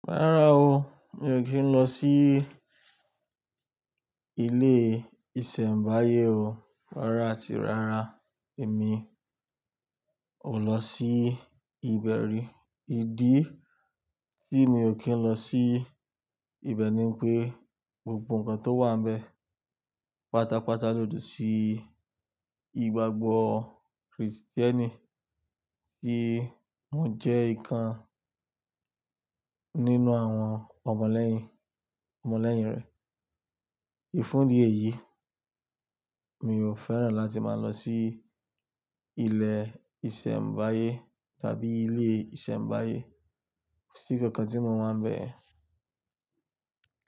Rárá o, mi ò kí ń lọ sí ilé ìṣẹ̀mbáyé o. Rárá tí, rárá. Èmi ò lọ sí ìbẹ̀rí. Ìdí tí mi ò kí ń lọ sí ìbẹ̀ ní wí pé gbogbo nǹkan tó wà níbẹ̀ pátápátá lòdì sí ìgbàgbọ́ Krìstíẹ́nì tí mò ń jẹ́ ikan nínú àwọn ọmọlẹ́yìn, ọmọlẹ́yìn rẹ̀. Fún di èyí, mi ò fẹ́ràn láti máa lọ sí ilé ìṣẹ̀mbáyé tàbí ilé ìṣẹ̀mbáyé, ko si nkankan tí mò wáa ń bẹ̀ yen.